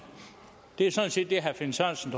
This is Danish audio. det er sådan set det herre finn sørensen